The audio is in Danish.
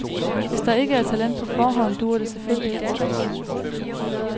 Hvis der ikke er talent på forhånd, dur det selvfølgelig ikke.